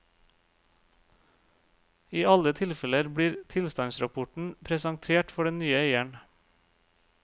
I alle tilfeller blir tilstandsrapporten presentert for den nye eieren.